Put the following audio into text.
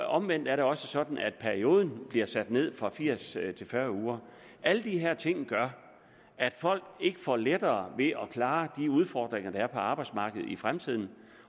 omvendt er det også sådan at perioden bliver sat ned fra firs til fyrre uger alle de her ting gør at folk ikke får lettere ved at klare de udfordringer der er på arbejdsmarkedet i fremtiden